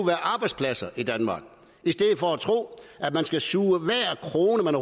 være arbejdspladser i danmark i stedet for at tro at man skal suge hver krone man